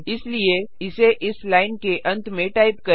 इसलिए इसे इस लाइन के अंत में टाइप करें